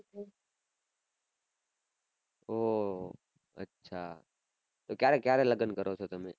ઉહ અચ્છા ક્યારે ક્યારે લગ્ન કરો છો તમે